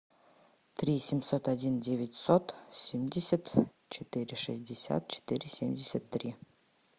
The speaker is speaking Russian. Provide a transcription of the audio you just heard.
три семьсот один девятьсот семьдесят четыре шестьдесят четыре семьдесят три